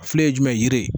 Filɛ ye jumɛn ye yiri